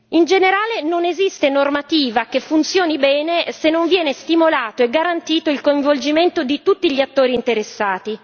In generale, non esiste normativa che funzioni bene se non viene stimolato e garantito il coinvolgimento di tutti gli attori interessati.